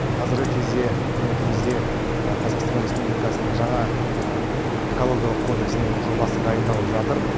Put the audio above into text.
қазіргі кезде үкіметімізде қазақстан республикасының жаңа экологиялық кодексінің жобасы дайындалып жатыр